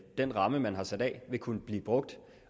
den ramme man har sat af vil kunne blive brugt